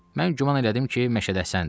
Mən güman elədim ki, məşədəsəndir.